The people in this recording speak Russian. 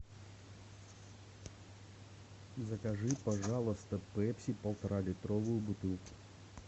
закажи пожалуйста пепси полтора литровую бутылку